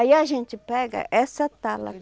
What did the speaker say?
Aí a gente pega essa tala